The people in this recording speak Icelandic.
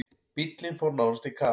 Bíllinn fór nánast í kaf.